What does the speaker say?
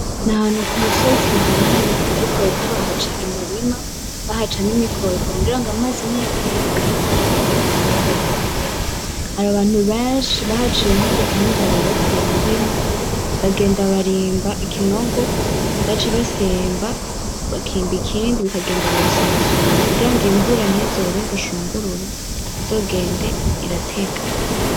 N'ahantu ku musozi uhanamye ariko bariko bahaca imirima; bahaca n'imikobeko kugira ngo amazi niyatemba ntazotwaze ibitegwa bihateye, hari abantu benshi, bahaciye nk'udutandara rero iyo mirima bagenda barimba ikinogo baca basimba bakimba ikindi bikagenda birasumba sumbana kugira ngo imvura ntizobe bushungurure, izogende iratega.